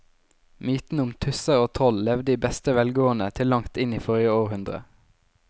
Mytene om tusser og troll levde i beste velgående til langt inn i forrige århundre.